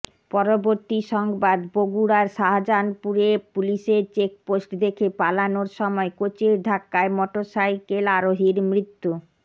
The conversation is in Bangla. পরবর্তী সংবাদ বগুড়ার শাজাহানপুরে পুলিশের চেকপোষ্ট দেখে পালানোর সময় কোচের ধাক্কায় মটরসাইকেল আরোহীর মৃত্যু